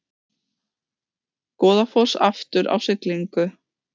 Goðafoss aftur á siglingu